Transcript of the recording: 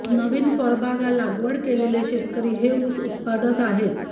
नवीन फळबागा लागवड केलेले शेतकरी हे उस उत्पादक आहेत